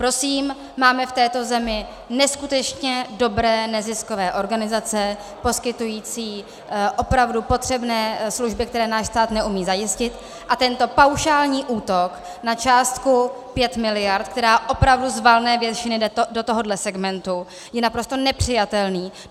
Prosím, máme v této zemi neskutečně dobré neziskové organizace poskytující opravdu potřebné služby, které náš stát neumí zajistit, a tento paušální útok na částku 5 miliard, která opravdu z valné většiny jde do tohoto segmentu, je naprosto nepřijatelný.